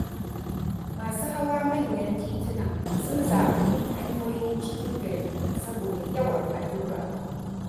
Masu hawa manyan tituna sun zaɓi bin hanyoyin cikin gari saboda yawan haɗɗurra.